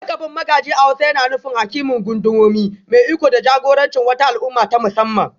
Lakabin Magaji a hausa yana nufin Hakimin Gundumomi, mai iko da jagorancin wata al'umma ta musamman